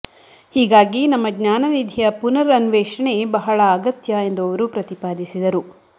ಹೀಗಾಗಿ ನಮ್ಮ ಜ್ಞಾನನಿಧಿಯ ಪುನರ್ಅನ್ವೇಷಣೆ ಬಹಳ ಅಗತ್ಯ ಎಂದು ಅವರು ಪ್ರತಿಪಾದಿಸಿದರು